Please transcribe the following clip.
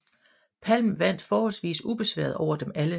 Palm vandt forholdsvis ubesværet over dem alle